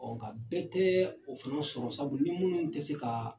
nka bɛɛ tɛ o fana sɔrɔ sabu ni minnu tɛ se ka